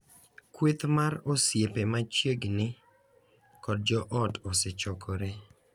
Kweth mar osiepe machiegni kod jo ot osechokore .